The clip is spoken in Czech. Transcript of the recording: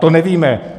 To nevíme.